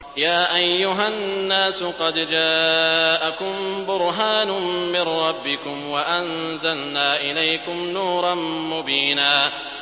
يَا أَيُّهَا النَّاسُ قَدْ جَاءَكُم بُرْهَانٌ مِّن رَّبِّكُمْ وَأَنزَلْنَا إِلَيْكُمْ نُورًا مُّبِينًا